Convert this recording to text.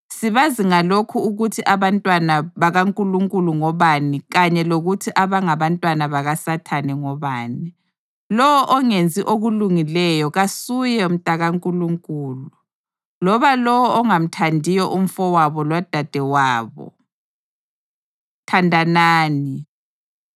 Sibazi ngalokhu ukuthi abantwana bakaNkulunkulu ngobani kanye lokuthi abangabantwana bakaSathane ngobani. Lowo ongenzi okulungileyo kasuye mntakaNkulunkulu, loba lowo ongamthandiyo umfowabo lodadewabo. Thandanani